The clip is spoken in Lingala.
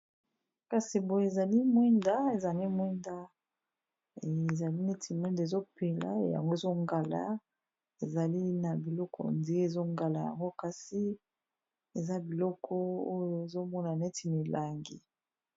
Kasi boye ezali mwinda ezali mwinda ezali neti mwinda ezopela yango, ezongala ezali na biloko ndie ezongala yango kasi eza biloko oyo ezomona neti milangi.